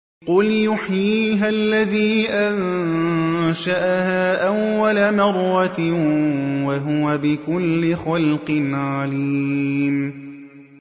قُلْ يُحْيِيهَا الَّذِي أَنشَأَهَا أَوَّلَ مَرَّةٍ ۖ وَهُوَ بِكُلِّ خَلْقٍ عَلِيمٌ